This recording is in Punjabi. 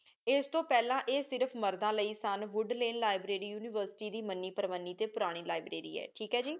ਏਸ ਤੋ ਪੇਹ੍ਲਾਂ ਆਯ ਸਿਰਫ ਮਰਦਾਂ ਲੈ ਸਨ ਵੂਦ ਲੇਲ ਲਿਬ੍ਰਾਰੀ ਉਨਿਵੇਰ੍ਸਿਟੀ ਦੀ ਮੰਨੀ ਪਰਵਾਨੀ ਟੀ ਪੁਰਾਨੀ ਲਿਬ੍ਰਾਰੀ ਹੈ ਠੀਕ ਹੈ ਜੀ